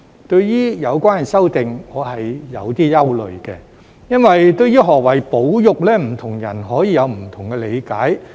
對於有關的修訂我是有些憂慮的，因為對於何謂"保育"，不同人可以有不同的理解。